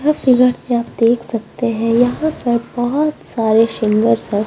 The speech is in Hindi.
यह फिगर पे आप देख सकते हैं यहां पर बहुत सारे शिंगर --